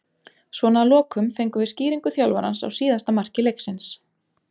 Svona að lokum fengum við skýringu þjálfarans á síðasta marki leiksins.